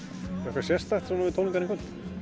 sérstakt við tónleikana í kvöld